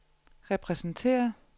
repræsenteret